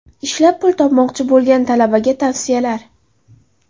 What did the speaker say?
Ishlab pul topmoqchi bo‘lgan talabaga tavsiyalar.